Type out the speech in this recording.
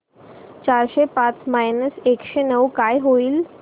चारशे पाच मायनस एकशे नऊ काय होईल